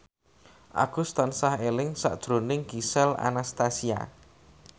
Agus tansah eling sakjroning Gisel Anastasia